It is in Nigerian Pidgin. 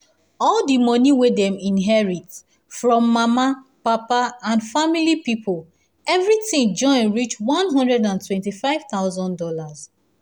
all the money wey dem inherit from mama papa and family people everything join reach one hundred and twenty five thousand dollars